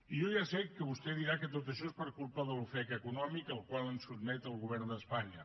i jo ja sé que vostè dirà que tot això és per culpa de l’ofec econòmic al qual ens sotmet el govern d’espanya